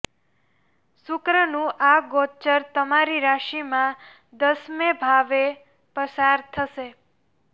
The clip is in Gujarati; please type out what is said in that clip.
શુક્રનું આ ગોચર તમારી રાશિમાં દસમે ભાવે પસાર થશે